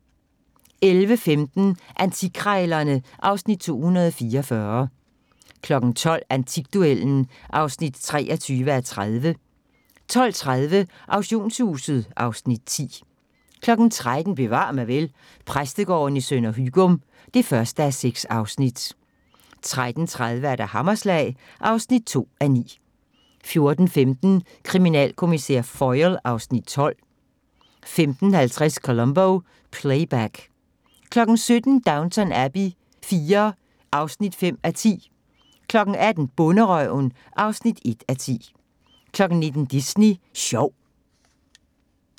11:15: Antikkrejlerne (Afs. 244) 12:00: Antikduellen (23:30) 12:30: Auktionshuset (Afs. 10) 13:00: Bevar mig vel: Præstegården i Sønder Hygum (1:6) 13:30: Hammerslag (2:9) 14:15: Kriminalkommissær Foyle (Afs. 12) 15:50: Columbo: Playback 17:00: Downton Abbey IV (5:10) 18:00: Bonderøven (1:10) 19:00: Disney Sjov